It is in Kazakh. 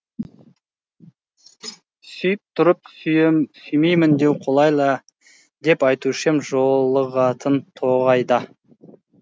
сүйіп тұрып сүймеймін деу қолайлы ә деп айтушы ем жолығатын тоғайда